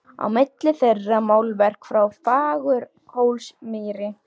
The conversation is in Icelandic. Á milli þeirra málverk frá Fagurhólsmýri.